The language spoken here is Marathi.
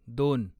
दोन